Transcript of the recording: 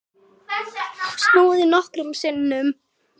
Snúið nokkrum sinnum.